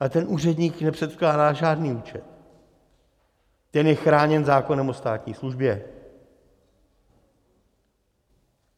Ale ten úředník nepředkládá žádný účet, ten je chráněn zákonem o státní službě.